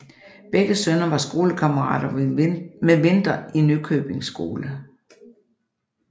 Begge sønner var skolekammerater med Winther i Nykøbing skole